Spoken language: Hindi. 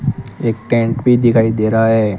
एक टेंट भी दिखाई दे रहा है।